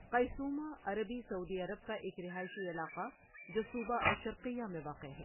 Qaisumah عربی سعودی عرب کا ایک رہائشی علاقہ جو صوبہ الشرقیہ میں واقع ہے۔